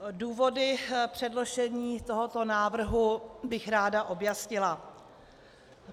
Důvody předložení tohoto návrhu bych ráda objasnila.